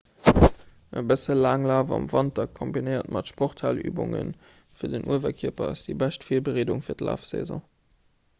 e bësse laanglaf am wanter kombinéiert mat sporthalübunge fir den uewerkierper ass déi bescht virbereedung fir d'lafsaison